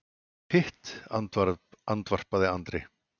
Hitt, andvarpaði Andri.